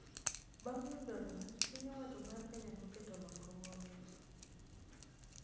Bang' yudo loch, piny owacho mar Kenya noketo lokruoge